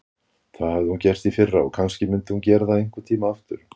Það hafði hún gert í fyrra og kannski myndi hún gera það einhvern tíma aftur.